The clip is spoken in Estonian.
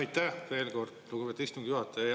Aitäh veel kord, lugupeetud istungi juhataja!